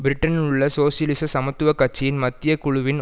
பிரிட்டனிலுள்ள சோசியலிச சமத்துவ கட்சியின் மத்திய குழுவின்